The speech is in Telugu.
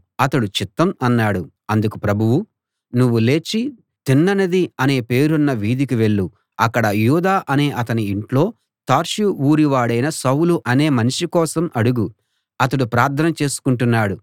అతడు చిత్తం అన్నాడు అందుకు ప్రభువు నువ్వు లేచి తిన్ననిది అనే పేరున్న వీధికి వెళ్ళు అక్కడ యూదా అనే అతని ఇంట్లో తార్సు ఊరి వాడైన సౌలు అనే మనిషి కోసం అడుగు అతడు ప్రార్థన చేసుకుంటున్నాడు